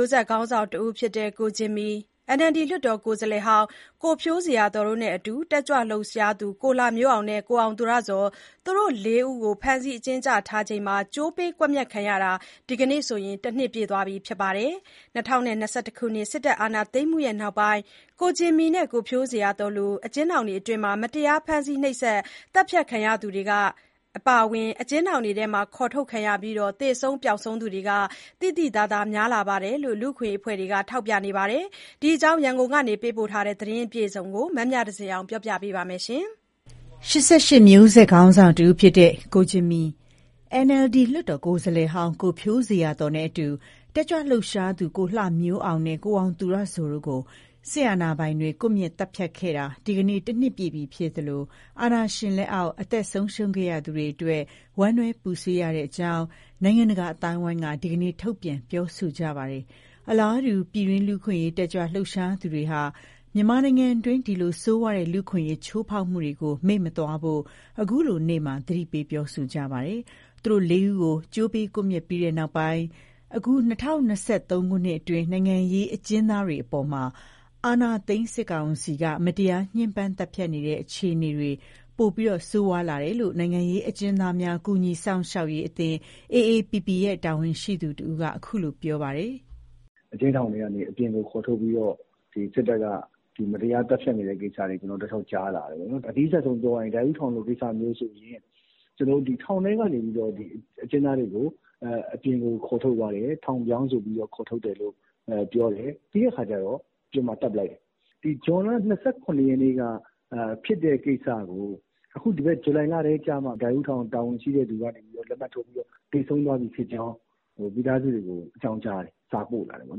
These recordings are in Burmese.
ိုးဆက် ခေါင်းဆောင်တဦးဖြစ်တဲ့ ကိုဂျင်မီ၊ NLD လွှတ်တော်ကိုယ်စားလှယ်ဟောင်း ကိုဖြိုးဇေယျာသော်နဲ့အတူ တက်ကြွလှုပ်ရှားသူ ကိုလှမျိုးအောင်နဲ့ ကိုအောင်သူရဇော်၊ သူတို့ ၄ ဦးကို ဖမ်းဆီးအကျဉ်းချထားချိန်မှာ ကြိုးပေးကွပ်မျက်ခံရတာ ဒီကနေ့ တနှစ်ပြည့်သွားခဲ့ပါပြီ။ ၂၀၂၁ စစ်တပ် အာဏာသိမ်းမှုနောက်ပိုင်း ကိုဂျင်မီနဲ့ ကိုဖြိုးဇေယျာသော်တို့လို အကျဉ်းထောင်တွင်း မတရား ဖမ်းဆီးနှိပ်စက် သတ်ဖြတ်ခံရသူတွေ၊ အကျဥ်းထောင်တွင်းက ခေါ်ထုတ်ခံရပြီး သေဆုံး ပျောက်ဆုံးသူတွေ သိသိသာသာ ပိုများလာတယ်လို့ လူ့အခွင့်အရေး အဖွဲ့တွေကလည်း ထောက်ပြနေကြပါတယ်။ ဒီအကြောင်း ရန်ကုန်ကနေ ပေးပို့ထားတဲ့ သတင်းအပြည့်အစုံကို မမြသဇင်အောင်က တင်ပြထားပါတယ်။ ၈၈ မျိုးဆက် ခေါင်းဆောင်တဦးဖြစ်တဲ့ ကိုဂျင်မီ၊ NLD လွှတ်တော် ကိုယ်စားလှယ်ဟောင်း ကိုဖြိုးဇေယျာသော် နဲ့အတူ တက်ကြွလှုပ်ရှားသူ ကိုလှမျိုးအောင်နဲ့ အောင်သူရဇော် တို့ကို စစ်အာဏာပိုင်တွေက ကွပ်မျက် သတ်ဖြတ်ခဲ့တာ ဒီကနေ့ တနှစ်ပြည့်ပြီ ဖြစ်သလို၊ အာဏာရှင် လက်အောက် အသက်ဆုံးရှုံးခဲ့ရသူတွေ အတွက် ဝမ်းနည်း ပူဆွေးရတဲ့အကြောင်း နိုင်ငံတကာ အသိုင်းအဝိုင်းက ဒီကနေ့ ထုတ်ပြန် ပြောဆိုကြပါတယ်။ အလားတူ ပြည်တွင်း လူ့အခွင့်အရေး တက်ကြွ လှုပ်ရှားသူတွေကလည်း မြန်မာနိုင်ငံတွင်း ဒီလို ဆိုးရွားတဲ့ လူ့အခွင့်အရေး ချိုးဖောက်မှုတွေကို မေ့မသွားဖို့ ခုလိုနေ့မှာ သတိပေး ပြောဆိုကြပါတယ်။ သူတို့ ၄ ဦးကို ကြိုးပေးကွပ်မျက်ပြီး နောက်ပိုင်း အခုနှစ် ၂၀၂၃ ခုနှစ်အတွင်း နိုင်ငံရေးအကျဉ်းသားတွေအပေါ် အာဏာသိမ်းစစ်ကောင်စီက မတရားညှင်းပန်း သတ်ဖြတ်နေတဲ့ အခြေအနေတွေ ပိုပြီး ဆိုးရွားလာတယ်လို့ နိုင်ငံရေးအကျဉ်းသားများ ကူညီစောင့်ရှောက်ရေးအသင်း AAPP ရဲ့ တာဝန်ရှိသူတဦးက အခုလို ပြောပါတယ်။ "အကျဉ်းထောင်ထဲကနေ အပြင်ကိုခေါ်ထုတ်ပြီးတော့ စစ်တပ်က မတရားသတ်ဖြတ်နေတဲ့ ကိစ္စတွေ တောက်လျှောက်ကြားလာ ရတယ်ပေါ့နော်။ အနီးစပ်ဆုံးပြောရရင် ဒိုက်ဦးထောင်လို ကိစ္စမျိုးဆိုရင် ထောင်ထဲကနေပြီးတော့ အကျဉ်းသားတွေကို အပြင်ကို ခေါ်ထုတ်သွားတယ်။ ထောင်ပြောင်းဆိုပြီး ခေါ်ထုတ်သွားတယ်လို့ ပြောတယ်။ ပြီးတဲ့အခါကျတော့ အပြင်မှာ သတ်လိုက်တယ်။ ဇွန်လ ၂၇ ရက်နေ့က ဖြစ်တဲ့ကိစ္စကို ဇူလိုင်လထဲကျမှ ဒိုက်ဦးထောင်တာဝန်ရှိသူက လက်မှတ်ထိုးပြီးတော့ သေဆုံးသွားပြီဖြစ်ကြောင်း မိသားစုတွေကို အကြောင်းကြားတယ်။ စာပို့လာတယ်ပေါ့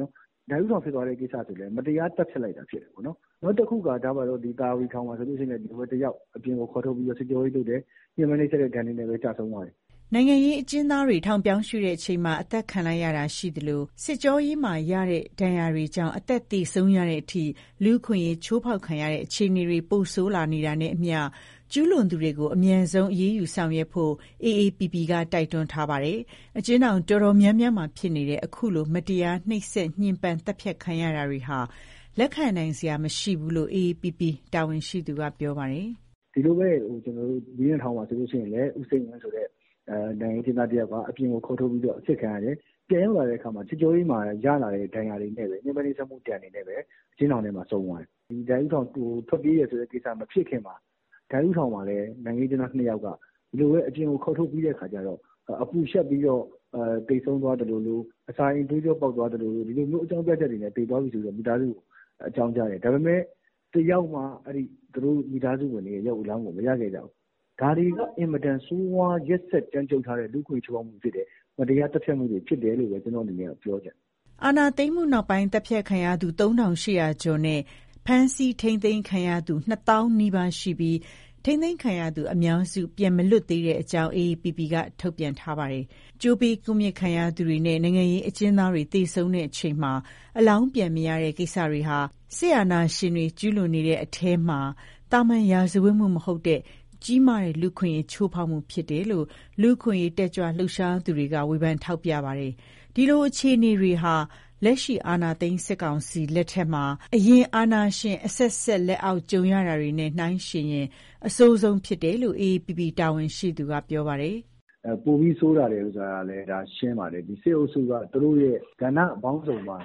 နော်။ ဒိုက်ဦးထောင် ဖြစ်သွားတဲ့ကိစ္စဆိုလည်း မတရားသတ်ဖြတ်လိုက်တာ ဖြစ်တယ်ပေါ့နော်။ နောက်တခုက သာယာဝတီထောင်မှာဆိုလည်း အကျဉ်းသားတယောက်ကို အပြင်ခေါ်ထုတ်ပြီး စစ်ကြောရေးလုပ်တယ်။ ညှင်းပန်းနှိပ်စက်တဲ့ ဒဏ်တွေနဲ့ပဲ ကျဆုံးသွားတယ်။" နိုင်ငံရေး အကျဉ်းသားတွေ ထောင်ပြောင်းရွှေ့ချိန်မှာ အသတ်ခံလိုက်ရတာ ရှိသလို၊ စစ်ကြောရေးမှာရတဲ့ ဒဏ်တွေကြောင့် အသက် သေဆုံးရတဲ့အထိ လူ့အခွင့်အရေး ချိုးဖောက်ခံရတဲ့ အခြေအနေတွေ ပိုဆိုး လာနေတာနဲ့အမျှ ကျူးလွန်သူတွေကို အမြန်ဆုံး အရေးယူ ဆောင်ရွက်ဖို့လည်း အေအေပီပီ က တိုက်တွန်းထားပါတယ်။ အကျဥ်းထောင် အတော်များများမှာ ဖြစ်နေတဲ့ ခုလို မတရား နှိပ်စက်ညှင်းပမ်း သတ်ဖြတ်ခံရတာတွေဟာ လက်ခံနိုင်စရာ မရှိဘူးလို့လည်း အေအေပီပီ တာဝန်ရှိသူက ပြောပါတယ်။ "ဒီလိုပဲ မြင်းခြံထောင်မှာဆိုရင်လည်း ဦးစိန်ဝင်းဆိုတဲ့ နိုင်ငံရေးအကျဉ်းသား တယောက်က အပြင်ခေါ်ထုတ်ပြီး အစစ်ခံရတယ်။ ပြန်ရောက်လာတဲ့အခါမှာ စစ်ကြောရေးမှာရတဲ့ ဒဏ်ရာတွေနဲ့ပဲ၊ ညှင်းပန်းနှိပ်စက်မှု ဒဏ်တွေနဲ့ပဲ အကျဉ်းထောင်ထဲမှာ ဆုံးသွားတယ်။ အကျဉ်းသားတွေ ထွက်ပြေးတယ်ဆိုတဲ့ ကိစ္စမဖြစ်ခင်မှာ ဒိုက်ဦးထောင်မှာလည်း နိုင်ငံရေးအကျဉ်းသား ၂ ယောက်က ဒီလိုပဲ အပြင်ကို ခေါ်ထုတ်ပြီးတဲ့ အခါကျတော့ အပူလျှပ်ပြီးတော့ သေဆုံးသွားသလိုလို၊ အစာအိမ်သွေးကြော ပေါက်သွားလိုလို၊ ဒီလိုမျိုး အကြောင်းပြချက်တွေနဲ့ သေသွားပြီဆိုပြီး မိသားစုတွေကို အကြောင်းကြားတယ်။ ဒါပေမဲ့ တယောက်မှ သူတို့မိသားစုဝင်တွေရဲ့ ရုပ်အလောင်းကို မရခဲ့ကြဘူး။ ဒါတွေက အင်မတန်ဆိုးရွား ရက်စက်ကြမ်းကြုတ်လှတဲ့ လူ့အခွင့်အရေး ချိုးဖောက်မှုဖြစ်တယ်။ မတရား သတ်ဖြတ်မှုတွေ ဖြစ်တယ်လို့ပဲ ပြောချင်တယ်။" အာဏာသိမ်းမှုနောက်ပိုင်း သတ်ဖြတ်ခံရကူ ၃,၈၀၀ ကျော်နဲ့ ဖမ်းဆီး ထိန်းသိမ်းခံရသူ ၂ သောင်းနီးပါး ရှိပြီး ထိန်းသိမ်းခံရသူ အများစု ပြန်မလွတ်သေးကြောင်းလည်း အေအေပီပီက ထုတ်ပြန်ထားပါတယ်။ ကြိုးပေး ကွပ်မျက်ခံရသူတွေနဲ့ နိုင်ငံရေး အကျဉ်းသားတွေ သေဆုံးချိန်မှာ အလောင်းပြန်မရတဲ့ ကိစ္စတွေဟာ စစ်အာဏာရှင်တွေ ကျူးလွန်နေတဲ့ အထဲမှာ သာမန်ရာဇဝတ်မှု မဟုတ်တဲ့ ကြီးမားတဲ့ လူ့အခွင့်အရေး ချိုးဖောက်မှုဖြစ်တယ်လို့ လူ့အခွင့်အရေး တက်ကြွ လှုပ်ရှားသူတွေက ဝေဖန် ထောက်ပြကြပါတယ်။ ဒီလို အခြေအနေတွေဟာ လက်ရှိ အာဏာသိမ်း စစ်ကောင်စီ လက်ထက်မှာ အရင် အာဏာရှင် အဆက်ဆက် လက်အောက် ကြုံခဲ့ရတာတွေနဲ့ နှိုင်းယှဥ်ရင် အဆိုးဆုံး ဖြစ်တယ်လို့လည်း အေအေပီပီ တာဝန်ရှိသူက ပြောပါတယ်။ "ပိုပြီးဆိုးလာတာကလည်း ဒါရှင်းပါတယ်။ စစ်အုပ်စုက သူတို့ရဲ့ ကဏ္ဍပေါင်းစုံမှာ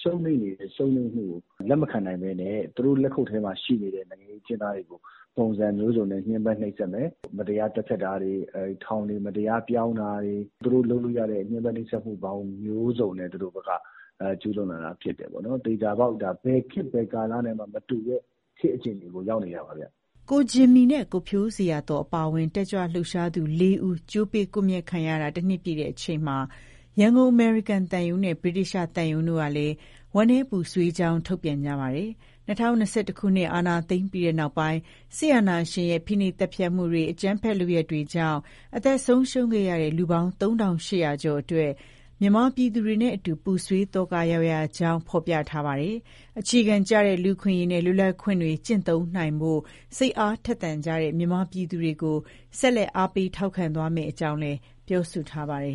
ရှုံးနိမ့်နေတဲ့ ရှုံးနိမ့်မှုကို လက်မခံနိုင်ဘဲနဲ့ သူတို့လက်ခုပ်ထဲမှာ ရှိနေတဲ့ နိုင်ငံရေး အကျဉ်းသားတွေကို ပုံစံမျိုးစုံနဲ့ ညှင်းပန်းနှိပ်စက်မယ်။ မတရား သတ်ဖြတ်တာတွေ၊ ထောင် မတရား ပြောင်းတာတွေ၊ သူတို့လုပ်လို့ရတဲ့ ညှင်းပန်းနှိပ်စက်မှုပေါင်းမျိုးစုံနဲ့ ကျူးလွန်ကြတာဖြစ်တယ်။ သေချာပေါက် ဒါက ဘယ်ခေတ် ဘယ်ကာလနဲ့မှ မတူတဲ့ ခေတ်အခြေအနေကို ရောက်နေတာပါဗျ။" ကိုဂျင်မီနဲ့ ကိုဖြိုးဇေယျာသော် အပါအဝင် တက်ကြွလှုပ်ရှားသူ ၄ ဦး ကြိုးပေးကွပ်မျက်ခံရတာ ၁ နှစ်ပြည့်ချိန်မှာ ရန်ကုန် အမေရိကန်သံရုံးနဲ့ ဗြိတိသျှ သံရုံးတွေ ကလည်း ဝမ်းနည်းပူဆွေးကြောင်း ထုတ်ပြန်ကြပါတယ်။ ၂၀၂၁ ခုနှစ် အာဏာသိမ်းပြီးနောက်ပိုင်း စစ်အာဏာရှင်ရဲ့ ဖိနှိပ်သတ်ဖြတ်မှုတွေ၊ အကြမ်းဖက်မှု လုပ်ရပ်တွေကြောင့် အသက်ဆုံးရှုံးခဲ့ရတဲ့ လူပေါင်း ၃,၈၀၀ ကျော်အတွက် မြန်မာပြည်သူတွေနဲ့အတူ ပူဆွေးသောက ရောက်ရကြောင်း ဖော်ပြထားပါတယ်။ အခြေခံကျတဲ့ လူ့အခွင့်အရေးနဲ့လွတ်လပ်ခွင့်တွေ ကျင့်သုံးနိုင်ဖို့ စိတ်အား ထက်သန်နေကြတဲ့ မြန်မာပြည်သူတွေကို ဆက်လက် အားပေး ထောက်ခံသွားမယ့်အကြောင်းလည်း ပြောဆိုထားပါတယ်